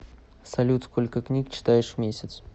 салют сколько книг читаешь в месяц